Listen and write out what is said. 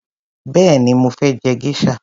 Béèni mo fé je geisha.